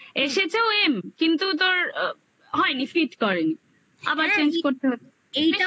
এসেছেও m কিন্তু তোর হয়নি fit ফিট করেনি আবার change করতে হতো